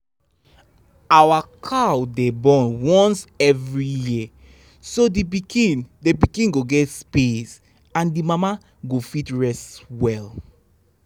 our cow dey born once every year so the pikin the pikin go get space and the mama go fit rest well.